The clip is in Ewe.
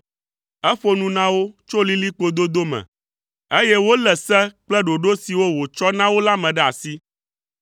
Eƒo nu na wo tso lilikpo dodo me, eye wolé se kple ɖoɖo siwo wòtsɔ na wo la me ɖe asi.